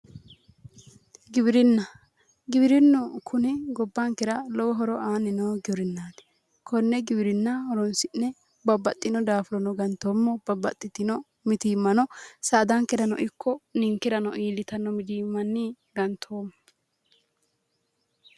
Giwirinna giwirinnu kuni gobbankera horo aanni noo giwirinnaati. konne giwirinna horonsi'ne babbaxino daafurono gantoommo. babbaxitino mitiimmano saadankerano ikko ninkerano iillitanno mitiimmanni gantoommo.